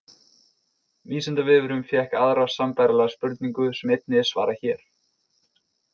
Vísindavefurinn fékk aðra sambærilega spurningu sem einnig er svarað hér.